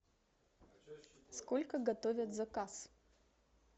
сколько готовят заказ